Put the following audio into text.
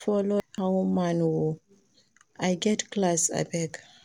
I no go fit follow anyhow man oo, I get class abeg